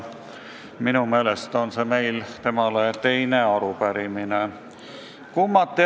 Minu meelest on praegune arupärimine meil temale teine.